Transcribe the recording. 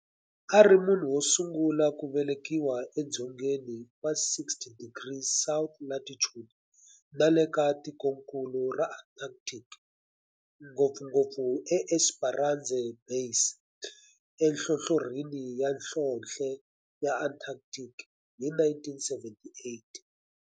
A ri munhu wo sungula ku velekiwa e dzongeni wa 60 degrees south latitude nale ka tikonkulu ra Antarctic, ngopfungopfu eEsperanza Base enhlohlorhini ya nhlonhle ya Antarctic hi 1978.